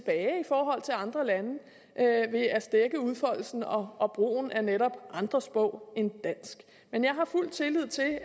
andre lande ved at stække udfoldelsen og og brugen af netop andre sprog end dansk men jeg har fuld tillid til at